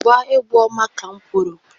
Gba-egwu ọma ka m kwuru!